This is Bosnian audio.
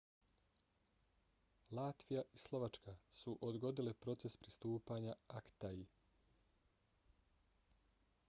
latvija i slovačka su odgodile proces pristupanja acta-i